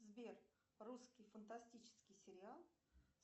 сбер русский фантастический сериал